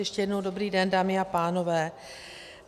Ještě jednou dobrý den, dámy a pánové.